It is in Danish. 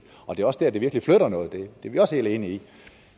er også der det virkelig flytter noget det er vi også helt enige i